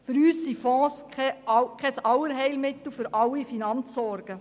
Für uns sind Fonds keine Allerheilmittel gegen alle Finanzsorgen.